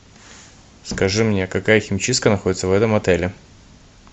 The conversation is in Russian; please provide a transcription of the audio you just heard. скажи мне какая химчистка находится в этом отеле